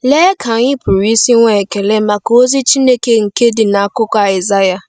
Lee ka anyị pụrụ isi nwee ekele maka ozi Chineke nke dị n’akwụkwọ Aịsaịa!